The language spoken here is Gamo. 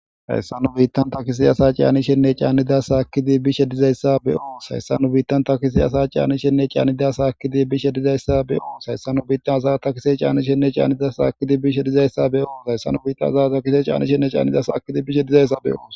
hayssa nu biittan takisi asa caanishenne caanida saakidi bishe dizayssa beoo hayssa nu biittan takisi asa caanishenne caanida saakidi bishe dizayssa beoo hayssan nu biittan asa takise caani shenne caanida saakidi bishe dizayssa be7oo hayssa nu biitta za takise caani shenne caanida saakidi bishe dizayssa be7oos